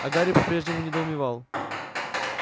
а гарри по-прежнему недоумевал